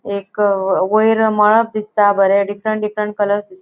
एक वयर मळब दिसता बरे डिफ्रन्ट डिफ्रन्ट कलर्स दिस --